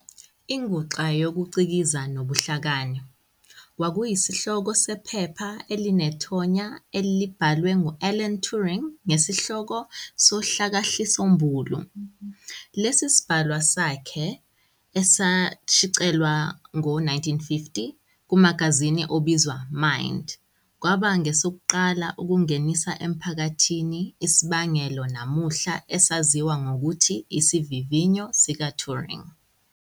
"Inguxa yokuCikiza nobuHlakani" kwakuyisihloko sephepha elinethonya elabhalwe ngu-Alan Turing ngesihloko sohlakahlisombulu. Lesi sibhalwa sakhe, esashicilelwa ngowezi-1950 kumagazini obizwa Mind, kwaba ngesokuqala ukungenisa emphakathini isibangelo namuhla esaziwa ngokuthi isivivinyo sika-Turing.